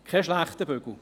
Keine schlechte Sache.